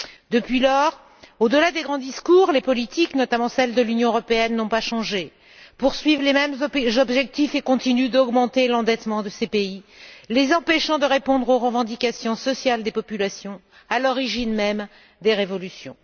Depuis lors, au delà des grands discours, les politiques, notamment celles de l'Union européenne, n'ont pas changé, poursuivent les même objectifs et continuent d'augmenter l'endettement de ces pays, les empêchant de répondre aux revendications sociales des populations à l'origine même des révolutions.